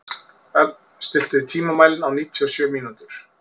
Ögn, stilltu tímamælinn á níutíu og sjö mínútur.